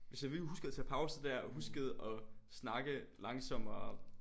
Hvis jeg huskede at tage pauser der og huskede at snakke langsommere